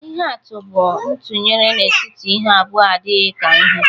Ihe atụ bụ ntụnyere n'etiti ihe abụọ adịghị ka ihe